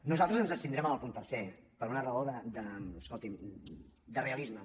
nosaltres ens abstindrem en el punt tercer per una raó escoltin de realisme